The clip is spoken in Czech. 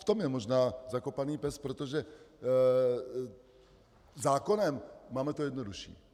V tom je možná zakopaný pes, protože zákonem to máme jednodušší.